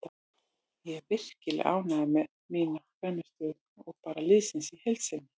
Ég er virkilega ánægður með mína frammistöðu og bara liðsins í heild sinni.